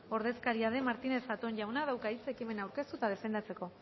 ordezkaria den martínez zatón jaunak dauka hitza ekimena aurkeztu eta defendatzeko